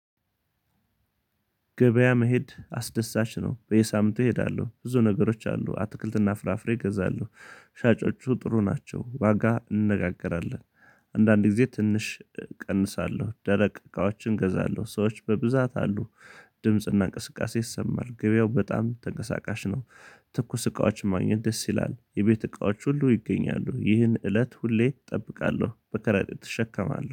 ገበያ መሄድ አስደሳች ነው በየሳምንቱ እሄዳለሁ ብዙ ነገሮች አሉ አትክልትና ፍራፍሬ እገዛለሁ። ሻጮቹ ጥሩ ናቸው ዋጋ እንነጋገራለን። አንዳንድ ጊዜ ትንሽ እቀንሳለሁ ደረቅ እቃዎችን እገዛለሁ ሰዎች በብዛት አሉ። ድምጽና እንቅስቃሴ ይሰማል ገበያው በጣም ተንቀሳቃሽ ነው። ትኩስ እቃዎች ማግኘት ደስ ይላል የቤት እቃዎች ሁሉ ይገኛሉ ይህን እለት ሁሌ እጠብቃለሁ በከረጢት እሸከማለሁ